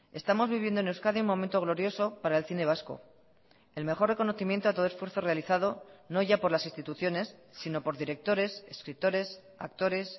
estamos viviendo en euskadi un momento glorioso para el cine vasco el mejor reconocimiento a todo esfuerzo realizado no ya por las instituciones sino por directores escritores actores